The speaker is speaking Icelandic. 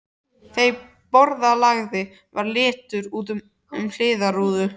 Þeim borðalagða var litið út um hliðarrúðu.